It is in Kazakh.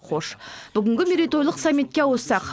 хош бүгінгі мейрейтойлық саммитке ауыссақ